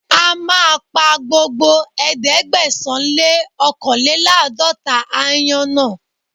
A máa pa gbogbo ẹ̀ẹ́dẹ́gbẹ̀sán-lé-ọ́kànléláàdọ́ta aáyán náà.